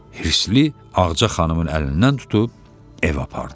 Hirsli Ağaca xanımın əlindən tutub evə apardı.